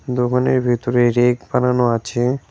দোকানের ভেতরে রেক বানানো আছে।